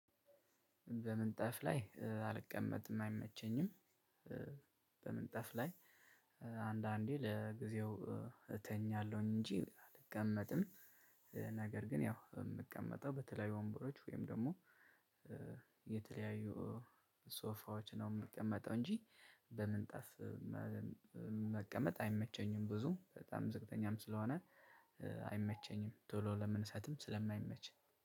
በምንጣፍ ላይ አልቀመጥም አይመቸኝም። በምንጣፍ ላይ አንዳንዴ ለጊዜው እተኛለሁኝ እንጂ አልቀመጥም። ነገር ግን ያው የምቀመጠው በተለያዩ ወንበሮች ወይም ደግሞ የተለያዩ ሶፋዎች ነው የምቀመጠው እንጂ በምንጣፍ መቀመጥ አይመቸኝም። ብዙ በጣም ዝቅተኛም ስለሆነ አይመቸኝም ቶሎ ለመነሳትም ስለማይመች።